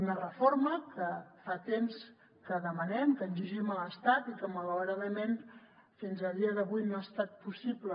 una reforma que fa temps que demanem que exigim a l’estat i que malauradament fins a dia d’avui no ha estat possible